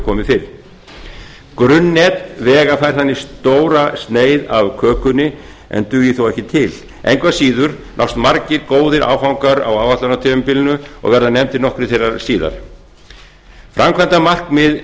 komið fyrr grunnnet vega fær þannig stóra sneið af kökunni en dugir þó ekki til engu að síður nást margir góðir áfangar á áætlunartímabilinu og verða nefndir nokkrir þeirra síðar framkvæmdamarkmið